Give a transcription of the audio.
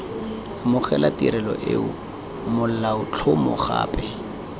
amogela tirelo eo molaotlhomo gape